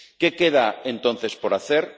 ¿Qué queda entonces por hacer?